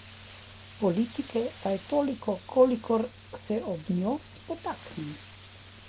Politike pa je toliko, kolikor se ob njo spotaknem.